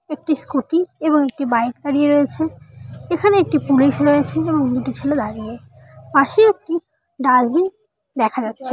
একটি স্কুটি এবং একটি বাইক দাঁড়িয়ে রয়েছে এখানে একটি পুলিশ রয়েছে এবং দুটি ছেলে দাঁড়িয়ে পাশে একটিডাস্টবিন দেখা যাচ্ছে।